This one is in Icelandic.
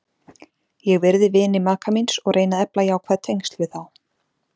Ég virði vini maka míns og reyni að efla jákvæð tengsl við þá.